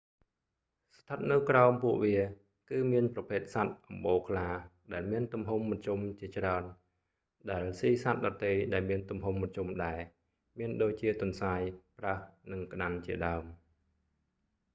ស្ថិតនៅក្រោមពួកវា គឺមានប្រភេទសត្វអម្បូរខ្លាដែលមានទំហំមធ្យមជាច្រើន ដែលស៊ីសត្វដទៃដែលមានទំហំមធ្យមដែរ មានដូចជាទន្សាយ ប្រើស និងក្តាន់ជាដើម